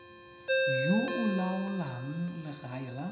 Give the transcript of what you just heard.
yo o laolang legae la